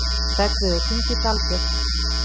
Hreggviður, hringdu í Dalbjörk.